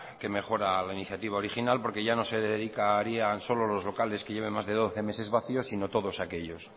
que mejora la iniciativa original porque ya no se dedicarían solo los locales que lleven más de doce meses vacíos sino todos aquellos